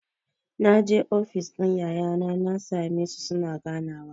Naje ofis ɗin yayana na sa me su suna ganawa.